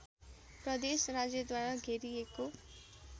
प्रदेश राज्यद्वारा घेरिएको